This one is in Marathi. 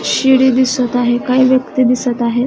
शिडी दिसत आहे काही व्यक्ति दिसत आहेत.